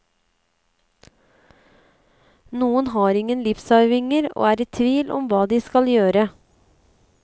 Noen har ingen livsarvinger og er i tvil om hva de skal gjøre.